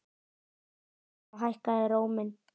sagði hann og hækkaði róminn.